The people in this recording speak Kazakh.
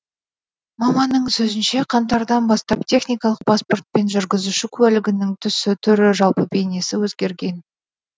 маманның сөзінше қаңтардан бастап техникалық паспорт пен жүргізуші куәлігінің түсі түрі жалпы бейнесі өзгерген